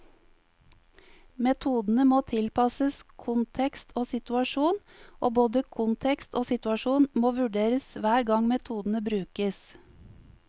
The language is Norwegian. Metodene må tilpasses kontekst og situasjon, og både kontekst og situasjon må vurderes hver gang metodene brukes.